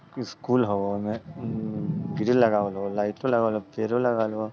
स्कूल हव उमे ग्रिल लगावल हव लाइट लगावल हव पेड़ो लगालवल हव।